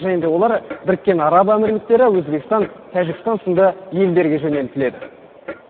және де олар біріккен араб әмірліктері өзбекстан тәжікстан сынды елдерге жөнелтіледі